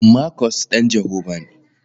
Markus ɗan Jehovah ne.